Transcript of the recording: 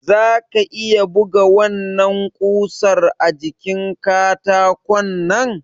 Zaka iya buga wannan kusar a jikin katakonnan?